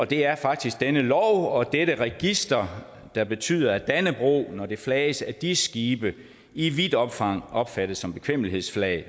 det er faktisk denne lov og dette register der betyder at dannebrog når det flages af dis skibe i vidt omfang opfattes som bekvemmelighedsflag